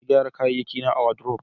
na gyara kayayyaki na a wadrob